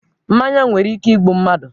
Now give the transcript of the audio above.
Mmanya nwere ike igbu mmadụ